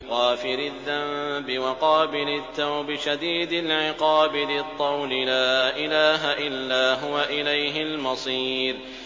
غَافِرِ الذَّنبِ وَقَابِلِ التَّوْبِ شَدِيدِ الْعِقَابِ ذِي الطَّوْلِ ۖ لَا إِلَٰهَ إِلَّا هُوَ ۖ إِلَيْهِ الْمَصِيرُ